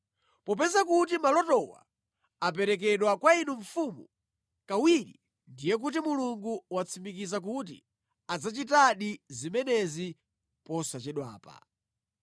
Popeza kuti malotowa aperekedwa kwa inu Mfumu kawiri, ndiye kuti Mulungu watsimikiza kuti adzachitadi zimenezi posachedwapa.